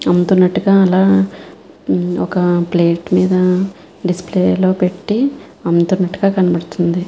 అల ఒక ప్లేట్ మేధా డిస్ప్లే లో పెట్టి అందంగా కనిపిస్తుంది.